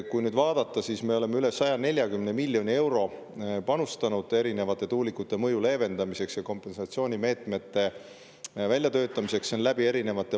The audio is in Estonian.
Kui nüüd vaadata, siis meie eri valitsused on üle 140 miljoni euro panustanud erinevate tuulikute mõju leevendamisse ja kompensatsioonimeetmete väljatöötamisse.